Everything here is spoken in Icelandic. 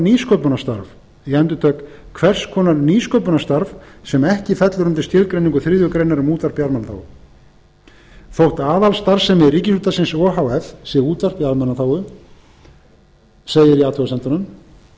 nýsköpunarstarf ég endurtek hvers konar nýsköpunarstarf sem ekki fellur undir skilgreiningu þriðju grein um útvarp í almannaþágu þótt aðalstarfsemi ríkisútvarpsins o h f sé útvarp í almannaþágu segir í athugasemdunum